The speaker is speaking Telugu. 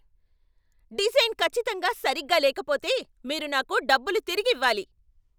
డిజైన్ ఖచ్చితంగా సరిగ్గా లేకపోతే, మీరు నాకు డబ్బులు తిరిగివ్వాలి.